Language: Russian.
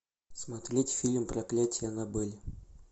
смотреть фильм проклятие аннабель